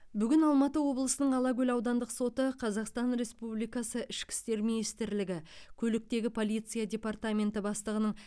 бүгін алматы облысының алакөл аудандық соты қазақстан республикасы ішкі істер министрлігі көліктегі полиция департаменті бастығының